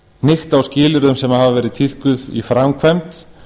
hnykkt á skilyrðum sem hafa verið tíðkuð í framkvæmd